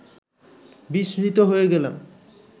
বিস্মৃত হয়ে গেলাম